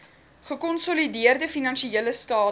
gekonsolideerde finansiële state